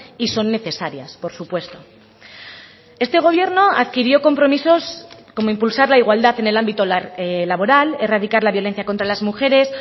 y son necesarias por supuesto este gobierno adquirió compromisos como impulsar la igualdad en el ámbito laboral erradicar la violencia contra las mujeres